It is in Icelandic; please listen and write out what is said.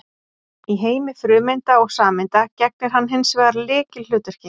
Í heimi frumeinda og sameinda gegnir hann hins vegar lykilhlutverki.